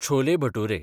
chole bhature